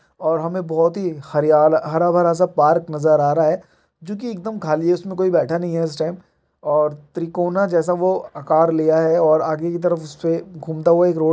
और हमें बहुत ही हरियाल हरा-भरा सा पार्क नजर आ रहा है जो कि एकदम खाली है उसमे कोई बैठा नही है इस टाइम और त्रिकोना जैसा वो आकार लिया है और आगे की तरफ उसपे घूमता हुआ एक रोड --